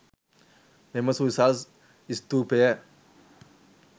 මෙම සුවිසල් ස්තූපය